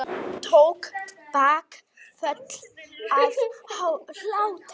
Tók bakföll af hlátri.